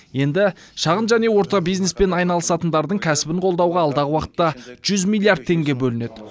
енді шағын және орта бизнеспен айналысатындардың кәсібін қолдауға алдағы уақытта жүз миллиард теңге бөлінеді